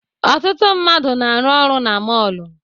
Ọtụtụ mmadụ na-arụ ọrụ na mọọlụ.